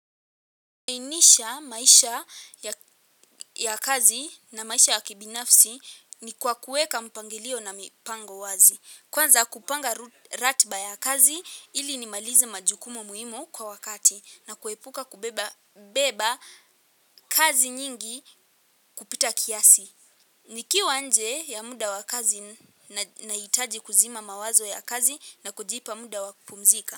Kuwainisha maisha ya kazi na maisha ya kibinafsi ni kwa kuweka mpangilio na mipango wazi. Kwanza kupanga ratiba ya kazi ili nimalize majukumu muhimu kwa wakati na kuepuka kubeba kazi nyingi kupita kiasi. Nikiwa nje ya muda wa kazi nahitaji kuzima mawazo ya kazi na kujipa muda wa kupumzika.